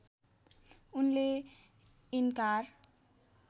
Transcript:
उनले इन्कार